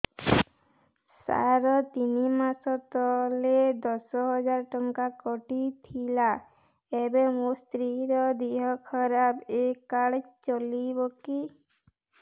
ସାର ତିନି ମାସ ତଳେ ଦଶ ହଜାର ଟଙ୍କା କଟି ଥିଲା ଏବେ ମୋ ସ୍ତ୍ରୀ ର ଦିହ ଖରାପ ଏ କାର୍ଡ ଚଳିବକି